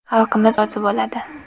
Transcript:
Xalqimiz rozi bo‘ladi.